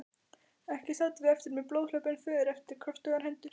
Ekki sátum við eftir með blóðhlaupin för eftir kröftugar hendur.